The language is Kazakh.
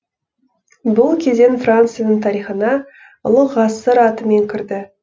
бұл кезең францияның тарихына ұлы ғасыр атымен кірді